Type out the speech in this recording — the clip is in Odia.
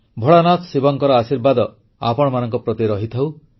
ଭୋଳାନାଥ ଶିବଙ୍କର ଆଶୀର୍ବାଦ ଆପଣମାନଙ୍କ ପ୍ରତି ରହିଥାଉ